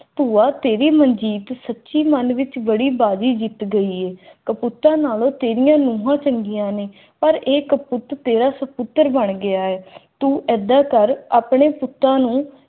ਭੂਆ ਤੇਰੀ ਮਰਜ਼ੀ ਐ ਪੁੱਤ ਹੀ ਮਨ ਵਿਚ ਬੜੀ ਬਾਜ਼ੀ ਜਿੱਤ ਗਈ ਏ ਟੁੱਟਣ ਨਾਵਲ ਸੀਰੀਅਲ ਨੂੰ ਹੋ ਸਕਦੀਆਂ ਨੇ ਪਰ ਇਹ ਕਠਪੁਤਲੀ ਅਫ਼ਸਰ ਬਣ ਗਿਆ ਹੈ